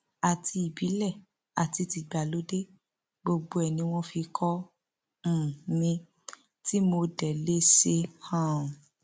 àti ìbílẹ àti tìgbàlódé gbogbo ẹ ni wọn fi kọ um mi tí mo dé lè ṣe um